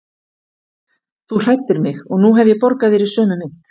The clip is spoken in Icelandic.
Þú hræddir mig og nú hef ég borgað þér í sömu mynt.